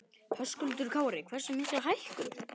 Höskuldur Kári: Hversu mikla hækkun?